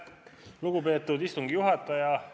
Lugupeetud istungi juhataja!